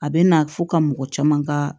A bɛ na fo ka mɔgɔ caman ka